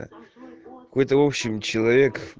какой-то в общем человек